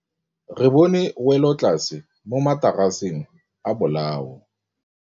Re bone wêlôtlasê mo mataraseng a bolaô.